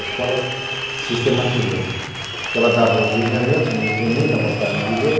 A escola sistematizou, porque ela dava os alinhamentos, mas eu tinha muita vontade de ler.